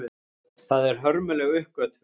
Það er hörmuleg uppgötvun.